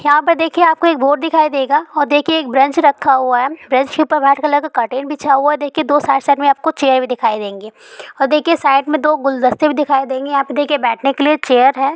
यहाँ पे देखिए आप को बोर्ड दिखाई देगा और देखिए एक ब्रेंच रखा हुआ है ब्रेंच पे व्हाइट कलर का कर्टेन बिछाया हुआ है देखिए दो साथ-साथ आप को चेयर भी दिखाई देंगे और देखिए साइड मे दो गुलदस्ते भी दिखाई देंगे यहाँ पे देखिए बैठने के लिए चेयर है।